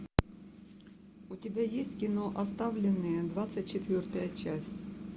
у тебя есть кино оставленные двадцать четвертая часть